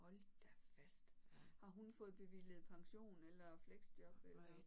Hold da fast. Har hun fået bevilget pension eller fleksjob eller